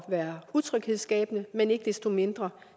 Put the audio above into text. være utryghedsskabende men ikke desto mindre